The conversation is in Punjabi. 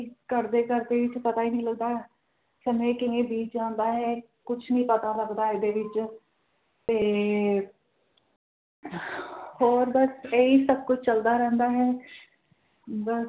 ਕਰਦੇ ਕਰਦੇ ਵਿਚ ਪਤਾ ਹੀ ਨਹੀਂ ਲੱਗਦਾ ਸਮੇ ਕਿਵੇਂ ਬੀਤ ਜਾਂਦਾ ਹੈ ਕੁਝ ਨੀ ਪਤਾ ਲੱਗਦਾ ਏਦੇ ਵਿਚ ਤੇ ਅਹ ਹੋਰ ਬਸ ਏਹੀ ਸਭ ਕੁਝ ਚਲਦਾ ਰਹਿੰਦਾ ਹੈ ਬਸ